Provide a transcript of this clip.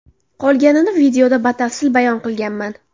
Qolganini videoda batafsil bayon qilganman.